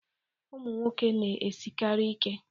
Ụmụ nwoke na-esikarị ike